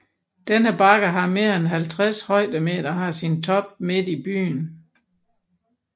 Denne bakke har mere end 50 højdemeter og har sin top midt i byen